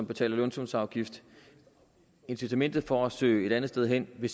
betaler lønsumsafgift incitamentet for at søge et andet sted hen vil